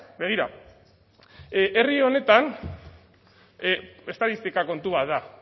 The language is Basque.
begira herri honetan estatistika kontu bat da